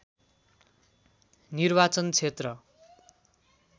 निर्वाचन क्षेत्र